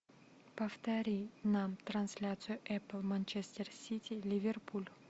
повтори нам трансляцию эпл манчестер сити ливерпуль